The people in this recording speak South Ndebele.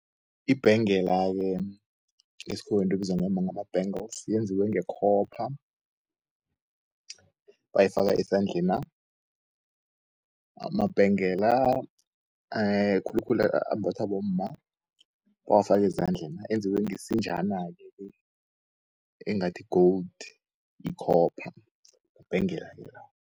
Ibhengela-ke ngeskhuwa yinto ebizwa ngombana ama-bangles yenziswe ngekhopha. Bayifaka esandleni na, amabhengela khulukhulu ambathwa bomma bawafake ezandlena enziwe ngesinjanake-ke engathi-gold, ikhopha yibhengela-ke